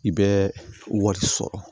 I bɛ wari sɔrɔ